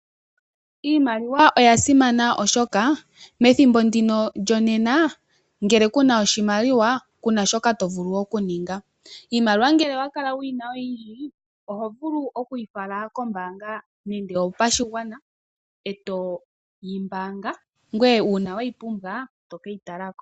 Iimaliwa oya simana oshoka methimbo ndino lyonena ngele ku na oshimaliwa, ku na shoka to vulu okuninga. Iimaliwa ngele owa kala wu yi na oyindji oho vulu oku yi fala kombaanga nande oyo pashigwana eto yi mbaanga, ngoye uuna we yi pumbwa to ke yi tala ko.